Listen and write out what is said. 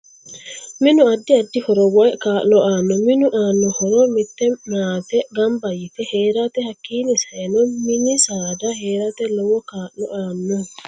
Minu addi addi horo woy kaa'lo aanno minu aanno horo mitte maate ganba yite heerate ,hakiini sa'eno mini saada heerate lowo kaa'lo aanno